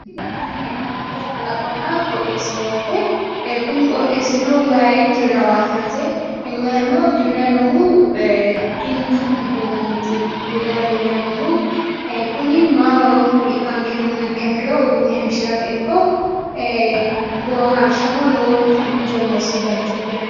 tini la'nanni hee'noommohu kalaqonna qooxeessaho yaate ee kunni qooxeessino wayi dirranno yaate wayino dirranni noohu kinchu giddonni ti dirranni leellanni noohu kuni mayi horora ikaanke yinummoha ikkiha ikkiro uduunne hayiishshirate ikko ee boohaarsha lowonta injo no noosi bayiichooti yaate.